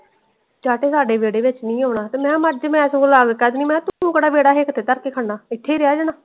ਚਾਤੇ ਸੱਦੇ ਵੇਹੜੇ ਚ ਨੀ ਆਉਣਾ ਤੇ ਮੈਂ ਕਿਹਾ ਮਰਜੇ ਮੈਂ ਚਾਵੇ ਕਾਰਦੇਣੀ ਤੂੰ ਕੇਹਰ ਵੇਹੜਾ ਹਿੱਕ ਤੇ ਧਰ ਕੇ ਖੜਨਾ ਇਥੇ ਹੀ ਰਹਿ ਜਾਣਾ ਵਾ।